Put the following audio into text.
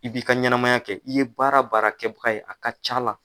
I b'i ka ɲɛnɛmaya kɛ, i ye baara baara kɛbaga ye a ka ca a la